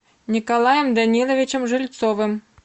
николаем даниловичем жильцовым